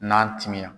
N'a timinan